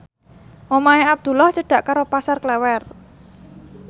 omahe Abdullah cedhak karo Pasar Klewer